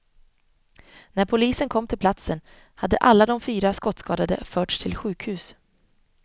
När polisen kom till platsen hade alla de fyra skottskadade förts till sjukhus.